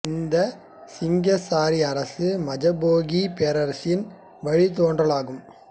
இந்தச் சிங்கசாரி அரசு மஜபாகித் பேரரசின் வழித் தோன்றல் ஆகும்